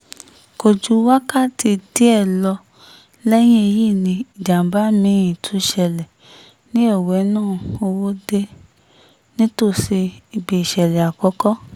kò ju wákàtí díẹ̀ lọ lẹ́yìn èyí ni ìjàm̀bá mi-ín tún ṣẹlẹ̀ ní owena-òwòde nítòsí ibi ìṣẹ̀lẹ̀ àkọ́kọ́